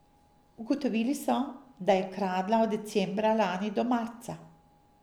Ugotovili so, da je kradla od decembra lani do marca.